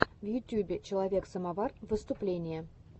в ютубе человек самовар выступление